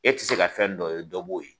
E ti se ka fɛn dɔ ye, dɔ b'o ye.